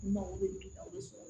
N mago bɛ o de sɔrɔ